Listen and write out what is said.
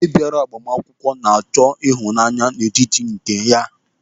Onye bịara agbamakwụkwọ na-achọ ịhụnanya n'etiti nke ya.